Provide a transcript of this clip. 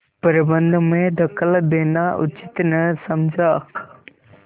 प्रबंध में दखल देना उचित न समझा